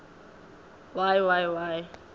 y y y